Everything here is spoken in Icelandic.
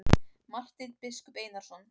Marteinn biskup Einarsson.